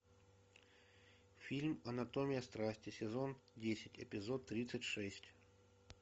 фильм анатомия страсти сезон десять эпизод тридцать шесть